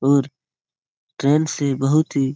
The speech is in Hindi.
और ट्रेन से बहुत ही --